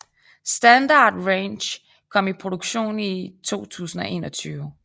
Standard Range kom i produktion i 2021